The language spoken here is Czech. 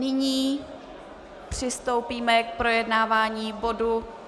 Nyní přistoupíme k projednávání bodu